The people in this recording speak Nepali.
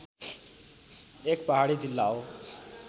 एक पहाडी जिल्ला हो